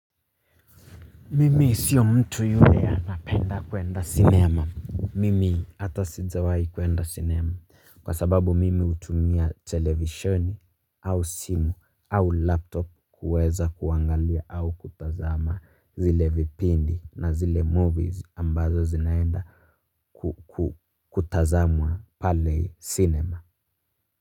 Mimi sio mtu yule anapenda kuenda cinema. Mimi hata sijawahi kuenda cinema kwa sababu mimi hutumia televisioni au simu au laptop kuweza kuangalia au kutazama zile vipindi na zile movies ambazo zinaenda kutazamwa pale cinema.